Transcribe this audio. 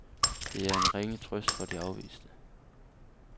Det er en ringe trøst for de afviste.